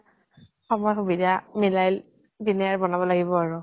সময় সুবিধা মিলাই পিনে আৰু বনাব লাগিব আৰু।